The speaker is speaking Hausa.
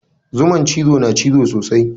Zuman cizo na cizo sosai.